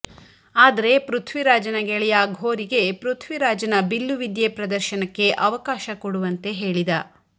ಆದರೆ ಪೃಥ್ವಿರಾಜನ ಗೆಳೆಯ ಘೋರಿಗೆ ಪೃಥ್ವಿರಾಜನ ಬಿಲ್ಲು ವಿದ್ಯೆ ಪ್ರದರ್ಶನಕ್ಕೆ ಅವಕಾಶ ಕೊಡುವಂತೆ ಹೇಳಿದ